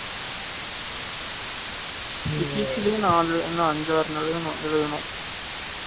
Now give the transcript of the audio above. physics ளையும் நான் அஞ்சு ஆறு எழுதணும்